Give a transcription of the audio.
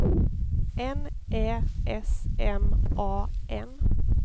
N Ä S M A N